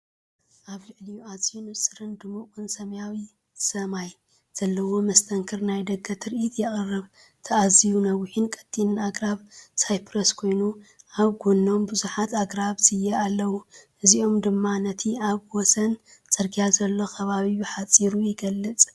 ኣብ ልዕሊኡ ኣዝዩ ንጹርን ድሙቕን ሰማያዊ ሰማይ ዘለዎ መስተንክር ናይ ደገ ትርኢት የቕርብ። እቲ ኣዝዩ ነዋሕን ቀጢንን ኣግራብ ሳይፕረስ ኮይኑ፡ ኣብ ጎድኖም ብዙሓት ኣግራብ ስየ ኣለዉ፡ እዚኦም ድማ ነቲ ኣብ ወሰን ጽርግያ ዘሎ ከባቢ ብሓጺሩ ይገልጹ።